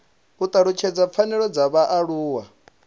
u talutshedza pfanelo dza vhaaluwa